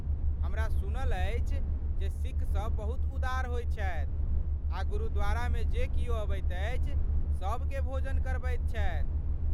हमरा सुनल अछि जे सिख सब बहुत उदार होइत छथि आ गुरुद्वारामे जे किओ अबैत अछि, सबकेँ भोजन करबैत छथि?